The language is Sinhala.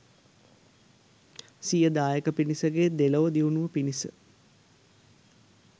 සිය දායක පිරිසගේ දෙලොව දියුණුව පිණිස